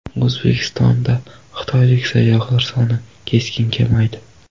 O‘zbekistonda xitoylik sayyohlar soni keskin kamaydi .